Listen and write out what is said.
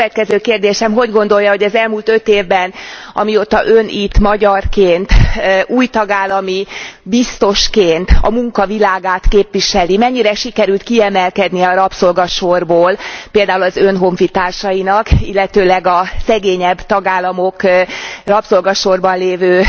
És a következő kérdésem hogy gondolja, hogy az elmúlt 5 évben, amióta Ön itt magyarként, új tagállami biztosként a munka világát képviseli, mennyire sikerült kiemelkedniük a rabszolgasorból például az Ön honfitársainak, illetőleg a szegényebb tagállamok rabszolgasorban lévő